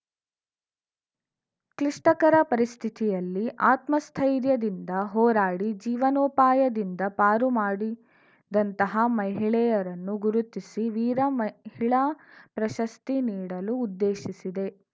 ಕ್ಲಿಷ್ಟಕರ ಪರಿಸ್ಥಿತಿಯಲ್ಲಿ ಅತ್ಮಸ್ಥೈರ್ಯದಿಂದ ಹೋರಾಡಿ ಜೀವನೋಪಾಯದಿಂದ ಪಾರು ಮಾಡಿದಂತಹ ಮಹಿಳೆಯರನ್ನು ಗುರುತಿಸಿ ವೀರ ಮಹಿಳಾ ಪ್ರಶಸ್ತಿ ನೀಡಲು ಉದ್ದೇಶಿಸಿದೆ